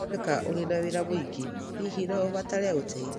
Nĩ woneka ũrĩ na wĩra mũingĩ, hihi no ũbatare ũteithio?